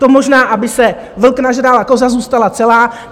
To možná aby se vlk nažral a koza zůstala celá.